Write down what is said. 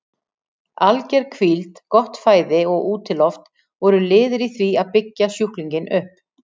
Alger hvíld, gott fæði og útiloft voru liðir í því að byggja sjúklinginn upp.